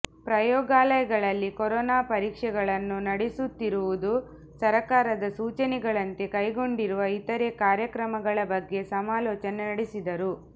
ಪ್ರಯೋಗಾಲಯಗಳಲ್ಲಿ ಕರೋನಾ ಪರೀಕ್ಷೆಗಳನ್ನು ನಡೆಸುತ್ತಿರುವುದು ಸರ್ಕಾರದ ಸೂಚನೆಗಳಂತೆ ಕೈಗೊಂಡಿರುವ ಇತರೆ ಕಾರ್ಯಕ್ರಮಗಳ ಬಗ್ಗೆ ಸಮಾಲೋಚನೆ ನಡೆಸಿದರು